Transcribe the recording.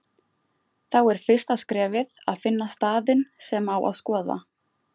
Þá er fyrsta skrefið að finna staðinn sem á að skoða.